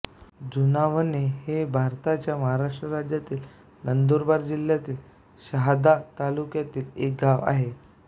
जुनावणे हे भारताच्या महाराष्ट्र राज्यातील नंदुरबार जिल्ह्यातील शहादा तालुक्यातील एक गाव आहे